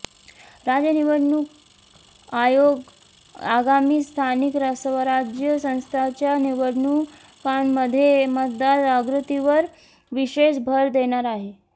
राज्य निवडणूक आयोग आगामी स्थानिक स्वराज्य संस्थांच्या निवडणुकांमध्ये मतदार जागृतीवर विशेष भर देणार आहे